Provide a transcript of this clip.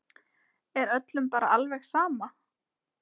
Er öllum bara alveg sama?